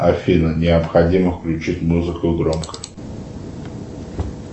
афина необходимо включить музыку громко